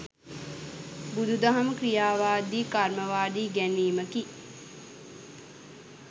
බුදුදහම ක්‍රියාවාදී කර්මවාදී ඉගැන්වීමකි.